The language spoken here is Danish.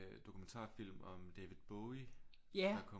Dokumentarfilm om David Bowie der kom